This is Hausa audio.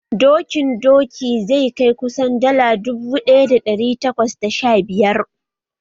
Dokin doki zai kai kusan dala dubu ɗaya da ɗari takwas da sha biyar